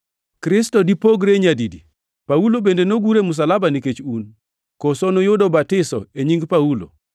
Kristo dipogre nyadi di? Paulo bende nogur e msalaba nikech un? Koso nuyudo batiso e nying Paulo?